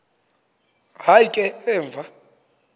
hayi ke emva